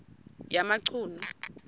yamachunu